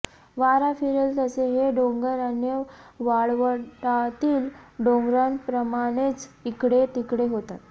वारा फिरेल तसे हे डोंगर अन्य वाळवंटातील डोंगरांप्रमाणेच इकडे तिकडे होतात